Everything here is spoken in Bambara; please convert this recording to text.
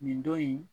Nin don in